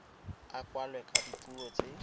a kwalwe ka dipuo tse